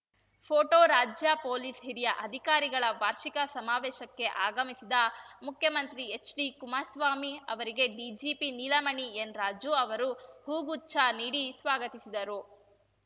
photo ರಾಜ್ಯ police ಹಿರಿಯ ಅಧಿಕಾರಿಗಳ ವಾರ್ಷಿಕ ಸಮಾವೇಶಕ್ಕೆ ಆಗಮಿಸಿದ ಮುಖ್ಯಮಂತ್ರಿ ಎಚ್‌ಡಿಕುಮಾರಸ್ವಾಮಿ ಅವರಿಗೆ ಡಿಜಿಪಿ ನೀಲಮಣಿ ಎನ್‌ರಾಜು ಅವರು ಹೂ ಗುಚ್ಛ ನೀಡಿ ಸ್ವಾಗತಿಸಿದರು